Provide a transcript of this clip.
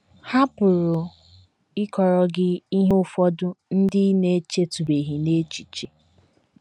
Ha pụrụ ịkọrọ gị ihe ụfọdụ ndị ị na - echetụbeghị n’echiche. ”